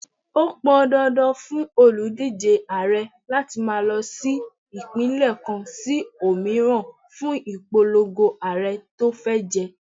Ó pọn dandan fún òlùdíje Ààrẹ láti máa lọ sí Ìpínlẹ̀ kan sí òmíràn fún ìpolongo Ààrẹ tó fẹ́ jẹ.